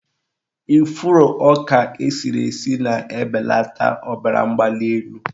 Ifuru ọka esiri esi na-ebelata ọbaramgbalịelu.